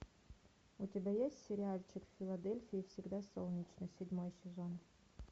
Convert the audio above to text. у тебя есть сериальчик в филадельфии всегда солнечно седьмой сезон